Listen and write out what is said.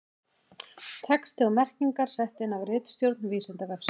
Texti og merkingar sett inn af ritstjórn Vísindavefsins.